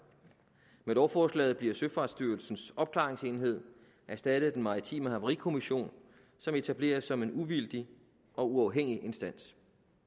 med lovforslaget bliver søfartsstyrelsens opklaringsenhed erstattet af den maritime havarikommission som etableres som en uvildig og uafhængig instans